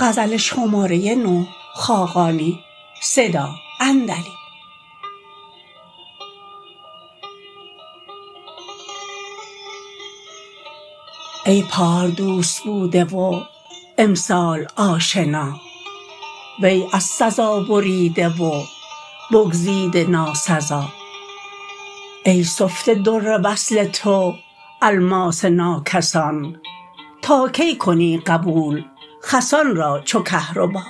ای پار دوست بوده و امسال آشنا وی از سزا بریده و بگزیده ناسزا ای سفته در وصل تو الماس ناکسان تا کی کنی قبول خسان را چو کهربا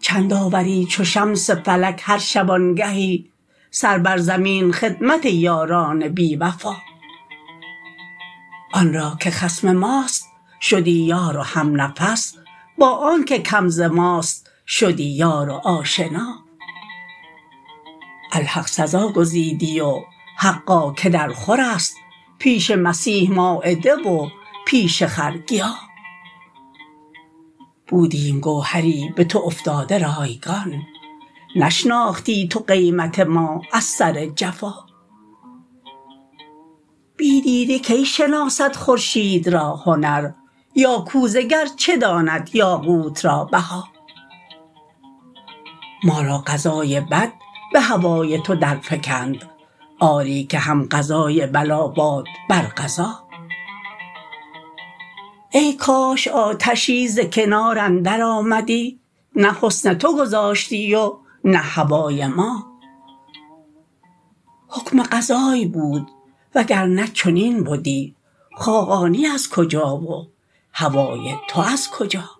چند آوری چو شمس فلک هر شبانگهی سر بر زمین خدمت یاران بیوفا آن را که خصم ماست شدی یار و همنفس با آنکه کم ز ماست شدی یار و آشنا الحق سزا گزیدی و حقا که درخور است پیش مسیح مایده و پیش خر گیا بودیم گوهری به تو افتاده رایگان نشناختی تو قیمت ما از سر جفا بی دیده کی شناسد خورشید را هنر یا کوزه گر چه داند یاقوت را بها ما را قضای بد به هوای تو درفکند آری که هم قضای بلا باد بر قضا ای کاش آتشی ز کنار اندر آمدی نه حسن تو گذاشتی و نه هوای ما حکم قضای بود و گر نه چنین بدی خاقانی از کجا و هوای تو از کجا